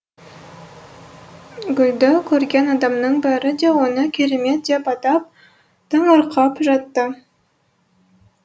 гүлді көрген адамның бәрі де оны керемет деп атап таңырқап жатты